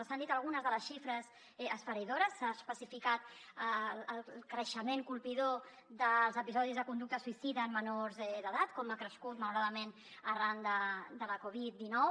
s’han dit algunes de les xifres esfereïdores s’ha especificat el creixement colpidor dels episodis de conducta suïcida en menors d’edat com ha crescut malauradament arran de la covid dinou